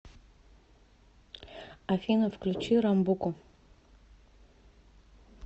афина включи рамбуку